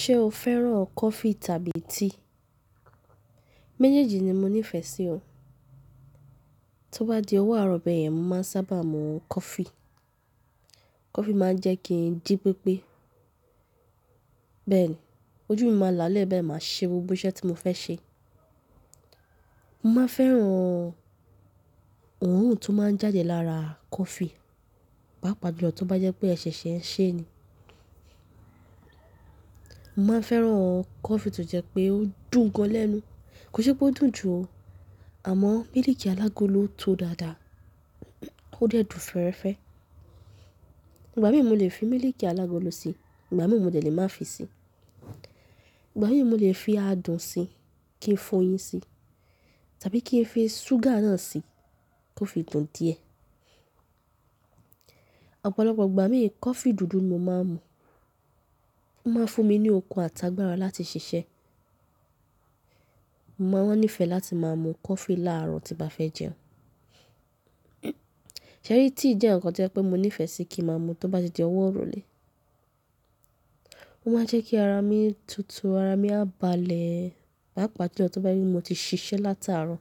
Ṣé o fẹ́ràn coffee tàbí tea? Méjèèjì ni mo nífẹ̀ẹ́ sí ọ. Tí ó bá di ọwọ́ àárọ̀ bẹ́ẹ̀ yẹn, mo máa ń sábà mu coffee. Coffee máa ń jẹ́ kí n ji péepé. Bẹ́ẹ̀ ni, ojú mi máa lá a lẹ́ bee, máa ṣe gbogbo iṣẹ́ tí mo fẹ́ ṣe. Mo máa ń fẹ́ran an òórùn tó máa ń jáde lára a coffee, pàápàá jù lọ tí ó bá jẹ́ pé ẹṣẹ̀ṣẹ̀ ẹ ṣe ni. Mo máa ń fẹ́ran an coffee tó jẹ́ pé ó dùn gan lẹ́nu. Kò ṣe pé ó dùn jù o, àmọ́ mílìkì alágolo tó dáadáa, ó de dùn fẹ́reẹ́fẹ́. Ìgbà mìín mo lè fi mílìkì alágolo sí i, ìgbà mìín mo de lè má fi sí i. Ìgbà mìin mo lè fi adùn sí i kí n fọyín sí i tàbí kí n fi súgà náà sí i kí ó fi dùn díẹ̀. Ọ̀pọ̀lọpọ̀ ìgbà mi coffee dùdú ni mo máa ń mu. Ó máa ń fún mi ní okun àti agbára láti ṣiṣẹ́e. Mo máa ń nífẹ̀ẹ́ láti máa mu coffee láàárọ̀ tí n bá fẹ́ e jẹun. Ṣẹ̀ rí tea jẹ́ ǹkan tí o je pé mo nífẹ̀ẹ́ sí kí ma mu tí ó bá ti di ọwọ́ iròlè. Ó máa ń jẹ́ kí ara mi tutù, ara mi á balẹ̀e, pàápàá ti ọ tí ó bá jé pé mo ti ṣiṣẹ́ láti àárọ̀.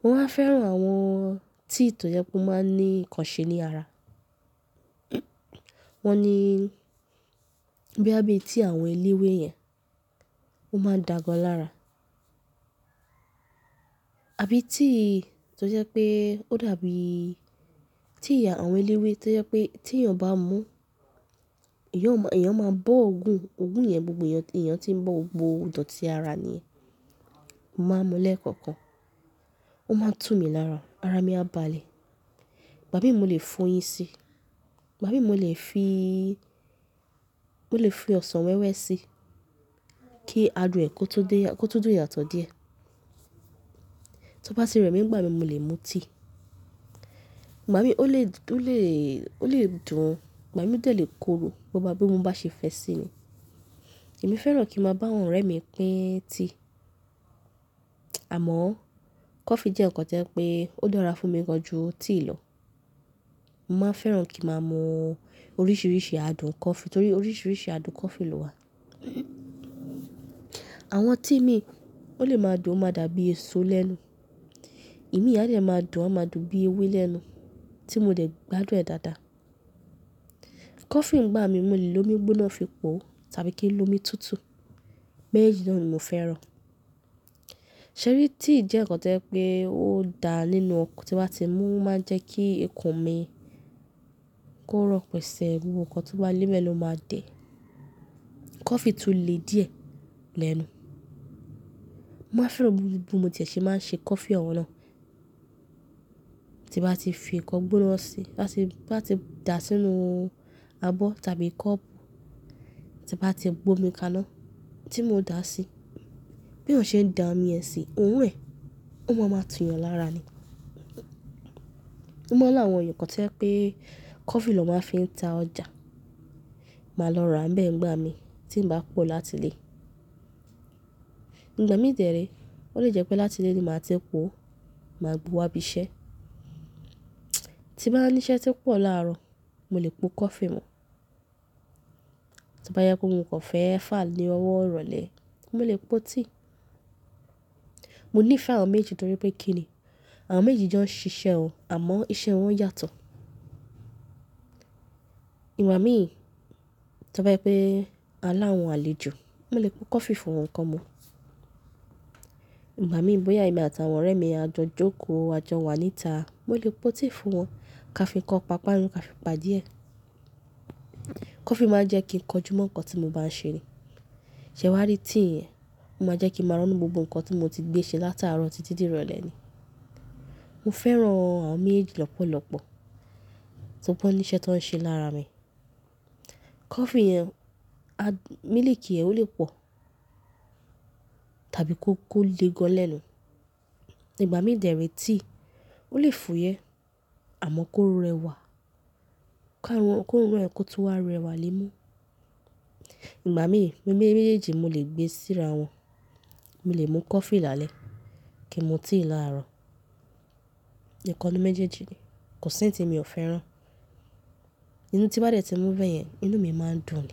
Mo máa ń fẹ́ran an aàwọn tea tó jẹ́ pé ó máa ń ní ìkànṣe ní ara. Wọ́n ni bíya bí i tea àwọn eléwé yẹn, ó máa da gàn lára. Àbí tea tí ó jẹ́ pé ó dàbí tea àwọn eléwé tí ó jẹ́ pé tí èèyàn bá mu, èèyàn o mo, èèyàn máa bọ́ òògùn, òògùn yẹn gbogbo èèyàn eeyan tí ń bọ́, gbogbo ìdọ̀tí ara ni. Mo máa ń mu lẹ́ẹ̀kọ̀kan. Ó máa ń tú mi lára, ara mi á baleẹ̀. Ìgbà mìín mo lè fọyín sí i, ìgbà mìin mo lè fi, mo lè fi ọsàn wẹ́wẹ́ sí i kí adùn ẹ kó tó dé yá, kó tó dùn yàtọ̀ díẹ̀. Tí ó bá ti rẹ mí, nnìgbà mìin mo lè mu tea. Ìgbà mìín ó lè, ó lè, ó lè dùn o, ìgbà mìín o de lè korò bó bá bí mo bá ṣe fẹ́ sí i ni. Èmi fẹ́ràn kí n máa bá àwọn ọ̀rẹ́ mi pín tea. Àmọ́ coffee jẹ́ ǹkan tí o je pé ó dára fún mi gan ju tea lọ. Mo máa ń fẹ́ran kí n máa mu oríṣiríṣi adùn coffee torí oríṣiríṣi adùn coffee ló wà. Àwọn tea mií, ó lè máa dùn, ó máa dàbí eèso lẹ́nu. Imiin á de máa dùn, a máa dùn bí i ewé lẹ́nu tí mo dẹ̀ gbádùn ẹ̀ dáadáa. Coffee ńgbà míì mo lè lo omi gbóná fi po tàbí kí n lo omi tutù. Méjèèjì náà ni mo fẹ́ràn. Ṣẹ̀ rí tea jẹ́ ǹkan tí o je pé ó dà nínú okk tí ba ti mú, ó máa ń jẹ́ kí ikùn mi kó rọ̀ pẹ̀sẹ̀, gbogbo nǹkan tó bá lẹ́ nbẹ̀ lọ máa dẹ̀. Coffee tún le díẹ̀ lẹ́nu. Mo a ń fe aan bí mo ti è ṣe máa ń ṣe coffee ọ̀un náà. Tí n bá ti fi ǹkan gbóná sí i, si ba si, ti bá ti dà sínú u abọ́ tàbí kọ́ọ̀pù, tí bá ti gbe omi kaná tí mo o dà sí i, bí eyan ṣe ń dàmi e sí i, òorun ẹ̀, òun máa maa tú yàn lára ni. Mo mọ̀ rawọn ẹ̀yàn kan tí o je pé coffee lọ́ máa ń fi ta ọjà. Máa lọ ra bẹ́ẹ̀ ńgbà mí tí ń bá pọ̀ láti lé. Ìgbà míì dè é re, ó lè jẹ́ pé láti lé ni máa ti po, màá bu wá bi iṣẹ́. Tí n baá nísẹ́ to pọ̀ láàárọ̀, mo lè po coffee mu. Tí bá jẹ pe mo kàn fẹ́ fà á ní ọwọ́ rolè, mo lè po tea. Mo nífẹ̀ẹ́ àwọn méjì torí pé kí ni? Àwọn méjejì jọ ń ṣiṣẹ́ won àmọ́ iṣẹ́ wọn yàtọ̀. Ìgbà míì tí ó bá jẹ pé a láwọn àlejò, mo lè po coffee fún wọn kan mu. Ìgbà míì bóyá èmi àti àwọn ọ̀rẹ́ mi a jọ jókòó, a jọ wà níta, mo lè po tea fún wọn ká fi nkan pàpárun ká fi pa díẹ̀. Coffee máa ń jẹ́ kí n kọjú mọ́ ǹkan tí mo bá ń ṣe ni. Ṣẹ̀ wá rí tea, ó máa jẹ́ kí màá rọ̀nù gbogbo ǹkan tí mo ti gbé ṣe látàárọ̀ títí di ìrọ̀lẹ́ ni. Mo fẹ́ràn àwọn méjejì lọ́pọ̀lọpọ̀ tí ó bá ní iṣẹ́ tó ń ṣe lára mi. Coffee yẹn, a-- mílìkì ẹ ó lè pọ̀ tàbí kó ko le gan lẹ́nu. Ìgbà míì dè ẹ́ rí tea, ó lè fò yẹ́ àmọ́ kó rẹwà káwọn, kó rọ̀ ẹ́ kó tó wá rẹwà lẹ́mú. Ìgbà míì, mẹ́ méjèèjì mo lè gbé síra wọn. Mo lè mu coffee lálẹ́ kí n mu tea láàárọ̀. Ẹ̀ẹ̀kọ́ ni méjèèjì ni. Kò sí ẹ́yi tí mi ò fẹ́ràn. Ìyun tí bá dẹ̀ tí mu beyẹn, inú mi máa ń dùn.